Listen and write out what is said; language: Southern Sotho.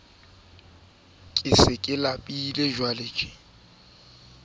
eo ho nkuweng sampole ho